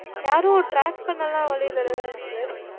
யாரும் track பண்ணலாம் வழி இல்லங்க தான sir